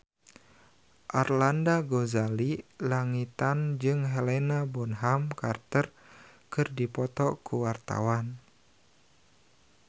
Arlanda Ghazali Langitan jeung Helena Bonham Carter keur dipoto ku wartawan